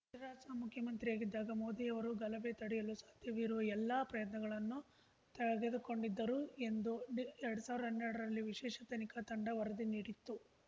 ಗುಜರಾತ್‌ ಮುಖ್ಯಮಂತ್ರಿಯಾಗಿದ್ದಾಗ ಮೋದಿ ಅವರು ಗಲಭೆ ತಡೆಯಲು ಸಾಧ್ಯವಿರುವ ಎಲ್ಲ ಪ್ರಯತ್ನಗಳನ್ನೂ ತೆಗೆದುಕೊಂಡಿದ್ದರು ಎಂದು ಎರಡ್ ಸಾವ್ರ್ದಾ ಹನ್ನೆರಡರಲ್ಲಿ ವಿಶೇಷ ತನಿಖಾ ತಂಡ ವರದಿ ನೀಡಿತ್ತು